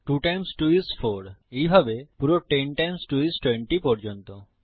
2 times 2 is 4 এইভাবে পুরো 10 times 2 is 20 পর্যন্ত